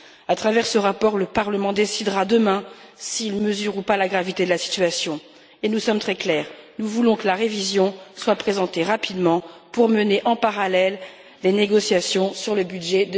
À travers ce rapport, le Parlement décidera demain s'il mesure ou pas la gravité de la situation et nous sommes très clairs nous voulons que la révision soit présentée rapidement pour mener, en parallèle, les négociations sur le budget